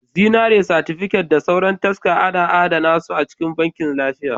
Zinariya, satifiket da sauran taska ana adana su a cikin Bankin lafiya